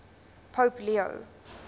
pope leo